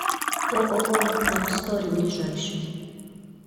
ооо лабстори ближайший